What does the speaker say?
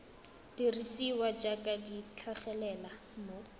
dirisiwa jaaka di tlhagelela mo